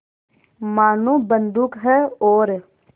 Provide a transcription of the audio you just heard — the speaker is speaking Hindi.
मानो बंदूक है और